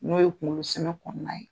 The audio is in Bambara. N'o ye kunkolo sɛmɛn kɔnɔna ye.